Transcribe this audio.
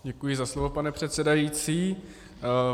Děkuji za slovo, pane předsedající.